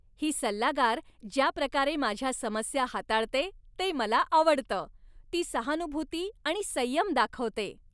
ही सल्लागार ज्या प्रकारे माझ्या समस्या हाताळते ते मला आवडतं. ती सहानुभूती आणि संयम दाखवते.